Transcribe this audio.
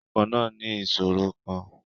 Ọkọ̀ náà ní ìṣòro kan.